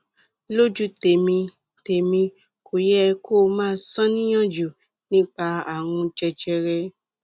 lójú tèmi tèmi kò yẹ kó o máa ṣàníyàn jù nípa ààrùn jẹjẹrẹ